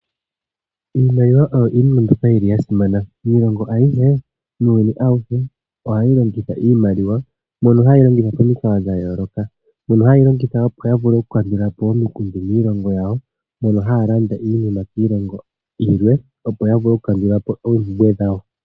Iimaliwa oyo iinima mbyoka yili yasimana. Miilongo ayihe, muuyuni awuhe ohawu longitha iimaliwa mono hayeyi longitha momikalo dhayooloka, mono hayeyi longitha opo yavule okukandula po omikundu miilongo yawo, mono haya landa iinima kiilongo yilwe opo yavule okukandula po oompumbwe dhawo.